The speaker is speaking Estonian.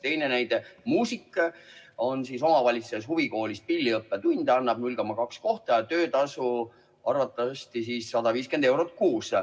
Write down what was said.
Teine näide: muusik annab omavalitsuse huvikoolis pilliõppetunde, 0,2 kohta ja töötasu arvatavasti 150 eurot kuus.